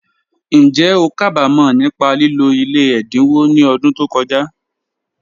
Njẹ́ o ká bá mọ̀ nípa lílò ilẹ̀ ẹ̀dáńwò ni ọ̀dún tó kọja?